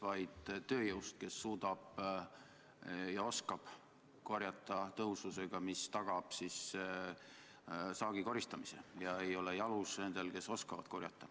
Ma pidasin silmas tööjõudu, kes suudab marju korjata tõhususega, mis tagab saagi koristamise, ega ole lihtsalt jalus nendel, kes oskavad korjata.